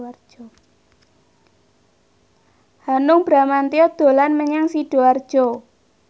Hanung Bramantyo dolan menyang Sidoarjo